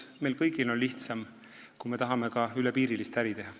Meil kõigil on nii lihtsam, kui me tahame ka piiriülest äri teha.